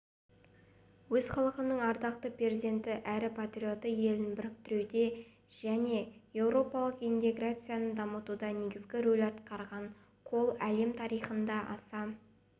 өз халқының ардақты перзенті әрі патриоты елін біріктіруде және еуропалық интеграцияны дамытуда негізгі рөл атқарған коль әлем тарихында аса